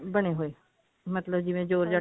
ਬਣੇ ਹੋਏ ਮਤਲਬ ਜਿਵੇਂ georgette